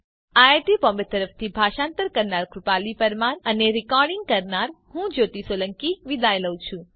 IIT Bombay તરફથી ભાષાંતર કરનાર હું કૃપાલી પરમાર વિદાય લઉં છું